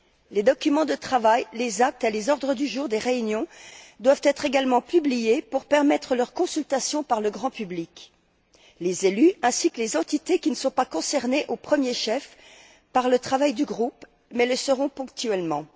Les documents de travail, les actes et les ordres du jour des réunions doivent être également publiés pour permettre leur consultation par le grand public, les élus ainsi que les entités qui ne sont pas concernées au premier chef par le travail du groupe mais qui le seront ponctuellement.